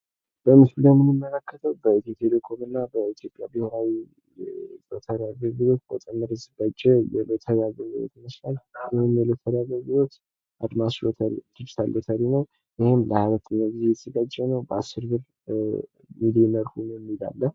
በምስሉ ላይ የምንመለከተው በኢትዮ ቴሌኮም እና በኢትዮጵያ ብሔራዊ ሎተሪ አገልግሎት በጣም የተዘጋጀ የሎተሪ አገልግሎት ይመስላል። ይህም የሎተሪ አገልግሎት አድማስ ሎተሪ ዲጂታል ሎተሪ ነው። ይሄም ለ 22ኛ ጊዜ የተዘጋጀ ነው። ሚሊየነር ሁኑ የሚል አለ።